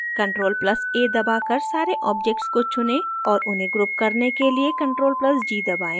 ctrl + a दबाकर सारे objects को चुनें और उन्हें group करने के लिए ctrl + g दबाएं